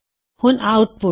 ਹੁਣ ਆਉਟਪੁਟ